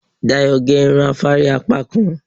Dayọ̀ gé irun afárí apákan